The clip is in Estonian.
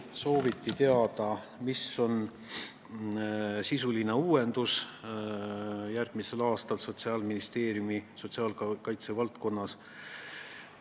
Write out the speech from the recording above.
Sooviti teada, mis on järgmisel aastal sisuline uuendus Sotsiaalministeeriumi sotsiaalkaitse valdkonnas.